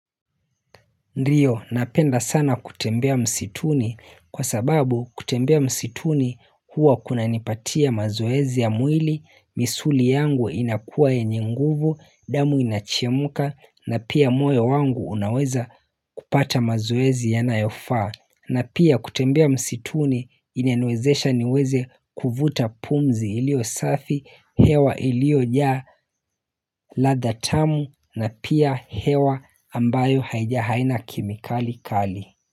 Ndiyo napenda sana kutembea msituni kwa sababu kutembea msituni huwa kuna nipatia mazoezi ya mwili, misuli yangu inakua yenye nguvu, damu inachemka na pia moyo wangu unaweza kupata mazoezi ya nayofaa. Na pia kutembea msituni inaniwezesha niweze kuvuta pumzi ilio safi, hewa ilio jaa ladha tamu na pia hewa ambayo haija haina kemikali kali.